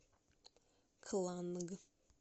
кланг